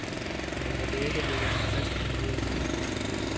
Men jeg vil ikke lægge mig fast på noget endnu.